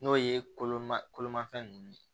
N'o ye koloman kolomafɛn ninnu ye